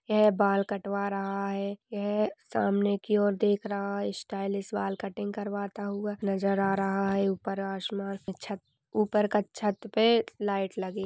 यह बाल कटवा रहा है यह सामने की ओर देख रहा है स्टाइलिश बाल कटिंग करवाता हुआ नज़र आ रहा है ऊपर आसमान में छत ऊपर का छत पे लाइट लगी--